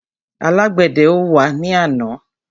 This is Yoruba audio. Alágbèdẹ ò wá ní àná.